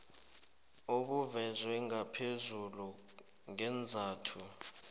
obuvezwe ngaphezulu ngeenzathu